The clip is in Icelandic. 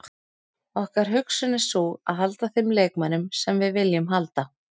Okkar hugsun er sú að halda þeim leikmönnum sem við viljum halda.